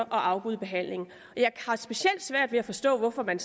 afbryde behandlingen jeg har specielt svært at forstå hvorfor man